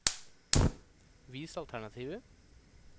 Vis alternativer